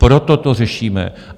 Proto to řešíme.